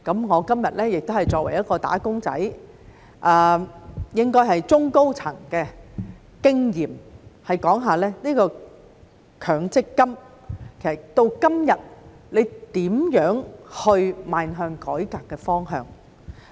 我今天也是作為"打工仔"，應該是從中高層的經驗說說強積金到今天應如何邁向改革的方向。